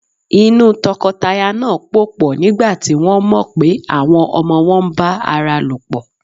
Inú tọkọtaya náà pòpọ̀ nígbà tí wọ́n mọ̀ pé àwọn ọmọ wọn ń bá ara lòpọ̀.